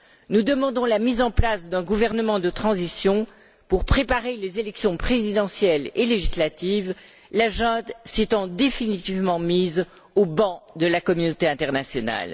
Nous demandons la mise en place d'un gouvernement de transition pour préparer les élections présidentielles et législatives, la junte s'étant définitivement mise au ban de la communauté internationale.